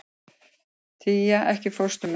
Tía, ekki fórstu með þeim?